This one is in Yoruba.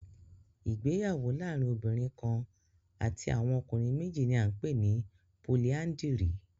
Ìgbéyàwó laarin obinrin kan ati awọn ọkunrin meji ni a npe ni políandírì